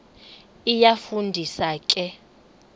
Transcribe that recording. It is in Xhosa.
iyafu ndisa ke